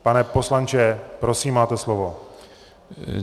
Pane poslanče, prosím, máte slovo.